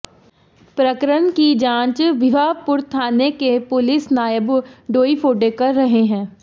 प्रकरण की जांच भिवापुर थाने के पुलिस नायब डोईफोडे कर रहे हैं